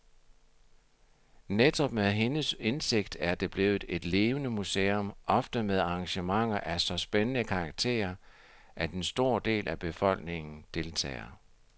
Netop med hendes indsigt er det blevet et levende museum, ofte med arrangementer af så spændende karakter, at en stor del af befolkningen deltager.